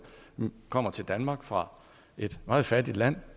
kommer til danmark fra et meget fattigt land